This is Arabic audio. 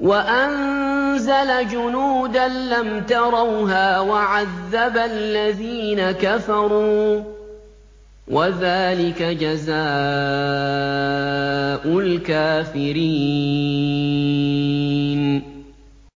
وَأَنزَلَ جُنُودًا لَّمْ تَرَوْهَا وَعَذَّبَ الَّذِينَ كَفَرُوا ۚ وَذَٰلِكَ جَزَاءُ الْكَافِرِينَ